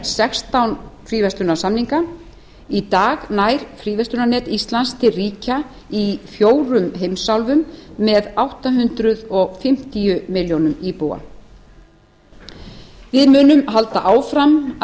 sextán fríverslunarsamninga í dag nær fríverslunarnet íslands til ríkja í fjórum heimsálfum með átta hundruð fimmtíu milljóna íbúa við munum allt um það halda áfram að